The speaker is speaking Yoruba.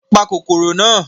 Pa kòkòrò náà!